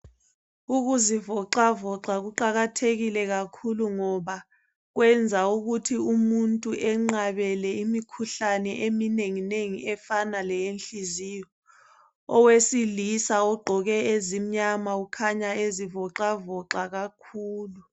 Ukuzivoxavoxa kuqakathekile kakhulu ngoba, kwenza ukuthi umuntu enqabele imikhuhlane eminenginengi efana lowenhliziyo, owesilisa ogqoke ezimnyama ukhanya ezivoxavoxa kakhulu.